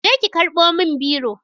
Je ki karɓo min biro